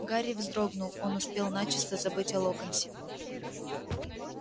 гарри вздрогнул он успел начисто забыть о локонсе